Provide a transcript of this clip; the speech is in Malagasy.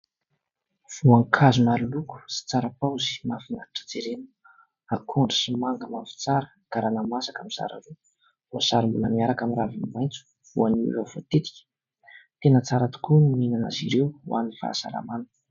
Voankazo maro loko sy tsara paozy, mahafinaritra jerena. Akondro sy manga mavo tsara, garana masaka mizara roa voasary mbola miaraka amin'ny raviny maitso, voanio efa voatetika. Tena tsara tokoa ny mihinana azy ireo ho an'ny fahasalamana .